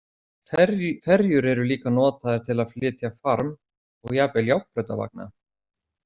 Ferjur eru líka notaðar til að flytja farm og jafnvel járnbrautarvagna.